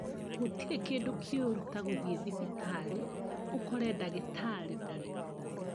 Gũtire kĩndũ kĩũru ta gũthie thibitarĩ ũkore dagĩtarĩ ndarĩ kuo